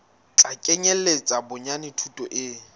tla kenyeletsa bonyane thuto e